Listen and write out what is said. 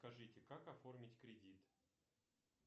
скажите как оформить кредит